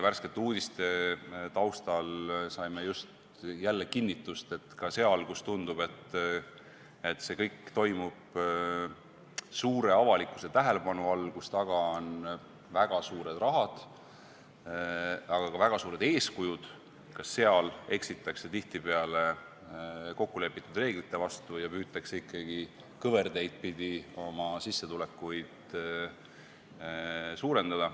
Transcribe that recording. Värskete uudiste taustal saime jälle kinnitust, et ka seal, kus tundub, et kõik toimub suure avalikkuse tähelepanu all, kus on taga väga suured rahad, aga ka väga suured eeskujud, eksitakse tihtipeale kokkulepitud reeglite vastu ja püütakse ikkagi kõverteid pidi oma sissetulekut suurendada.